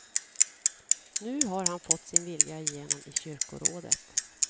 Nu har han fått sin vilja igenom i kyrkorådet.